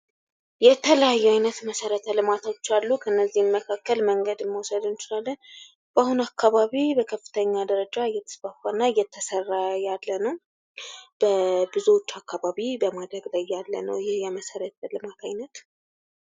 የተለያዩ ዓይነት መሰረተ ልማቶች አሉ። ከእነዚህም መካከል መንገድ መውሰድ እንችላለን ፤አሁን አካባቢው በከፍተኛ ደረጃ እየተስፋፋ እና እየተሰራ ያለ ነው። በብዙዎች አካባቢ በማደግ ላይ ያለ ነው ይህ የመሠረተ ልማት አይነት።